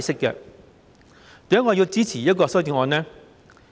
為何我會支持此項修正案呢？